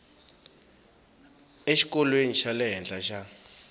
exikolweni xa le henhla xa